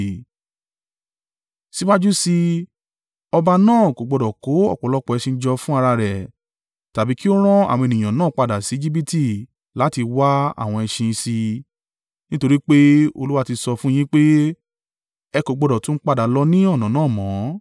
Síwájú sí i, ọba náà kò gbọdọ̀ kó ọ̀pọ̀lọpọ̀ ẹṣin jọ fún ara rẹ̀, tàbí kí ó rán àwọn ènìyàn náà padà sí Ejibiti láti wá àwọn ẹṣin sí i, nítorí pé Olúwa ti sọ fún un yín pé, “Ẹ kò gbọdọ̀ tún padà lọ ní ọ̀nà náà mọ́.”